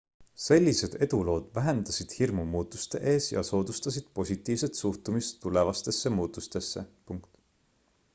sellised edulood vähendasid hirmu muutuste ees ja soodustasid positiivset suhtumist tulevastesse muutustesse